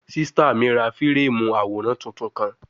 Sista mi ra fireemu aworan tuntun kan